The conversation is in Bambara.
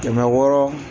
Kɛmɛ wɔɔrɔ